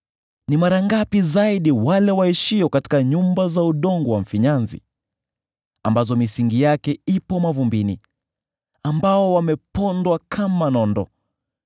ni mara ngapi zaidi wale waishio katika nyumba za udongo wa mfinyanzi, ambazo misingi yake ipo mavumbini, ambao wamepondwa kama nondo!